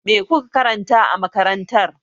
Me kuka karanta a makarantar?